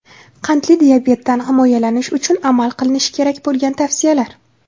Qandli diabetdan himoyalanish uchun amal qilinishi kerak bo‘lgan tavsiyalar.